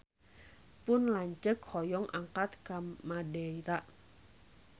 Pun lanceuk hoyong angkat ka Madeira